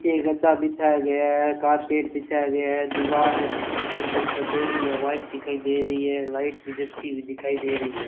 नीचे गद्दा बिछाया गया है कारपेट बिछाया गया है दीवार से एकदम सफेद या वाइट दिखाई दे रही है लाइट भी जलती हुई दिखाई दे रही है।